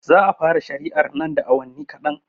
Za a fara shari'ar nan da awanni kaɗan